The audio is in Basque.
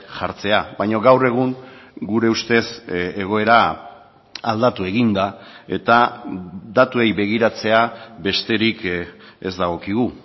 jartzea baina gaur egun gure ustez egoera aldatu egin da eta datuei begiratzea besterik ez dagokigu